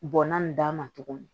Bɔnna nin d'a ma tuguni